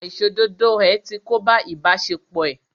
Àìṣòdodo ẹ̀ ti kóbá ìbáṣepọ̀ ẹ́.